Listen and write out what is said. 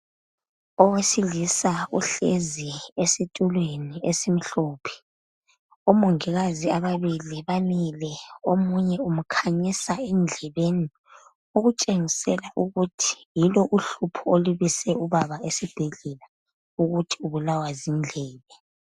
Owesilisa uhlezi esitulweni esimhlophe omongikazi ababili bamile omunye umkhanyisa endlebeni okutshengisela ukuthi yilo uhlupho olubise ubaba esibhedlela ukuthi ubulawa zindlebe.